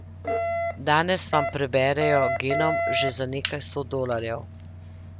Danes vam preberejo genom že za nekaj sto dolarjev.